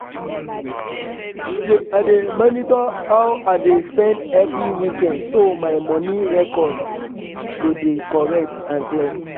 i dey monitor how i dey spend every weekend so my moni record go dey correct and clear